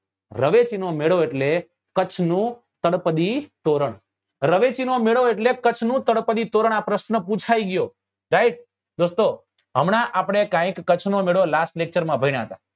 રવેચી નો મેળો એટલે કચ્છ નું તળપદી તોરણ રવેચી નો મેળો એટલે કચ્છ નું તળપદી તોરણ આ પ્રશ્ન પુછાય ગયો right દોસ્તો હમણા આપડે કઈક કચ્છ નો મેળો last lecture માં ભણ્યા હતા